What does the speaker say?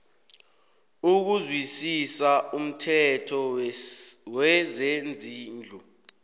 ukuzwisisa umthetho wezezindlu